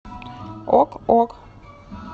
ок ок